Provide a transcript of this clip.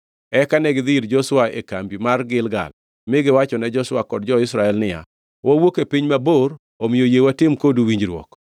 Eka negidhi ir Joshua e kambi man Gilgal mi giwachone Joshua kod jo-Israel niya, “Wawuok e piny mabor, omiyo yie watim kodu winjruok.”